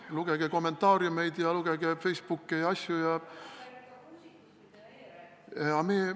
Lugege kommentaariumeid, lugege Facebooki ja neid muid!